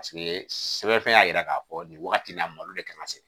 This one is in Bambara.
Paseke sɛbɛnfɛn y'a jira k'a fɔ nin wagati in na malo de ka kan ka se